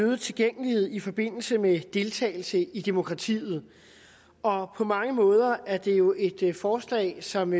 øget tilgængelighed i forbindelse med deltagelse i demokratiet og på mange måder er det jo et forslag som